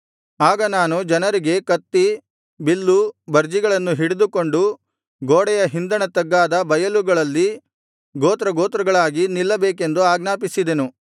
ಆಗ ನಾನು ಜನರಿಗೆ ಕತ್ತಿ ಬಿಲ್ಲು ಬರ್ಜಿಗಳನ್ನು ಹಿಡಿದುಕೊಂಡು ಗೋಡೆಯ ಹಿಂದಣ ತಗ್ಗಾದ ಬಯಲುಗಳಲ್ಲಿ ಗೋತ್ರಗೋತ್ರಗಳಾಗಿ ನಿಲ್ಲಬೇಕೆಂದು ಆಜ್ಞಾಪಿಸಿದೆನು